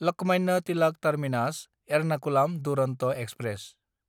Lokmanya Tilak टार्मिनास–एरनाखुलाम Duronto express